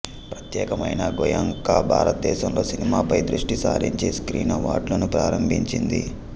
ప్రత్యేకమైన గోయెంకా భారతదేశంలో సినిమాపై దృష్టి సారించి స్క్రీన్ అవార్డులను ప్రారంభించింది